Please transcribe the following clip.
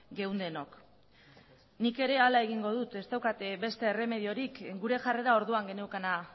geundenok nik ere hala egingo dut ez daukat beste erremediorik gure jarrera orduan geneukana